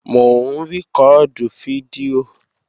Mò ń rìkọ́ọ̀dù fídíò